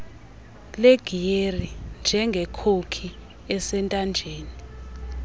legiyeri njengekhoki esentanjeni